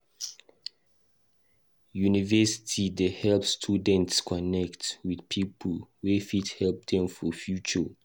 University dey help students connect with people wey fit help dem for future.